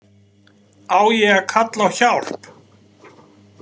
Á ég að kalla á hjálp?